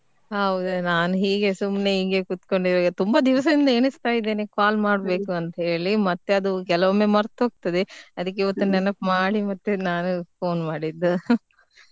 ಹೌದ್ ನಾನ್ ಹೀಗೆ ಸುಮ್ನೆ ಹೀಗೆ ಕುತ್ಕೊಂಡ್ ಇದ್ದೆ ಸುಮ್ನೆ ತುಂಬಾ ದಿವಸದಿಂದ ಎಣಿಸ್ತಾ ಇದೇನೇ call ಮಾಡ್ಬೇಕು ಅಂತೇಳಿ ಮತ್ತೆ ಅದು ಕೆಲವಮ್ಮೆ ಮರ್ತ್ ಹೋಗ್ತದೆ ಅದ್ಕೆ ಇವತ್ ಮತ್ತೆ ನೆನಪ್ ಮಾಡಿ ಮತ್ತೆ ನಾನು phone ಮಾಡಿದ್ದು.